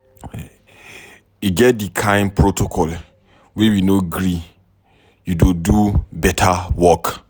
E get di kain protocol we no go gree you do beta work.